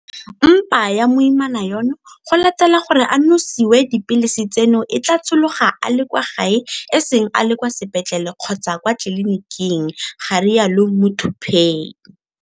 Mpa ya moimana yono go latela gore a nosiwe dipilisi tseno e tla tshologa a le kwa gae e seng a le kwa sepetlele kgotsa kwa tleliniking, ga rialo Muthuphei.